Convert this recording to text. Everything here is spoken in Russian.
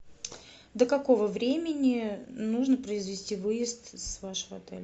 до какого времени нужно произвести выезд с вашего отеля